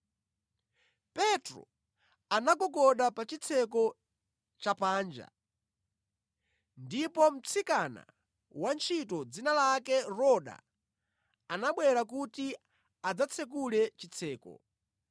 Petro anagogoda pa chitseko cha panja, ndipo mtsikana wantchito dzina lake Roda anabwera kuti adzatsekule chitseko.